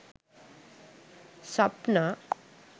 sapna